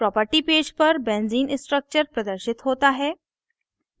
property page पर benzene structure प्रदर्शित होता है